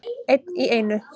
Einn í einu.